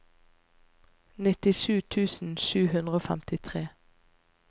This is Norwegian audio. nittisju tusen sju hundre og femtitre